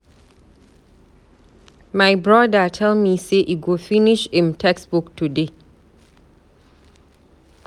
My brother tell me say e go finish im textbook today.